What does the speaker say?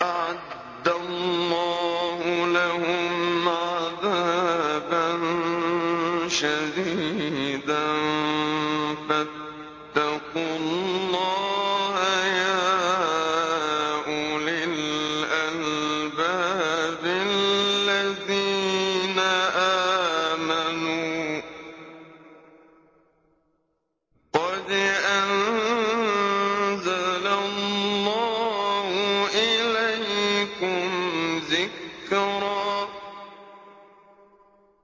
أَعَدَّ اللَّهُ لَهُمْ عَذَابًا شَدِيدًا ۖ فَاتَّقُوا اللَّهَ يَا أُولِي الْأَلْبَابِ الَّذِينَ آمَنُوا ۚ قَدْ أَنزَلَ اللَّهُ إِلَيْكُمْ ذِكْرًا